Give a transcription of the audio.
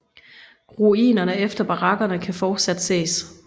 Ruinerne efter barakkerne kan fortsat ses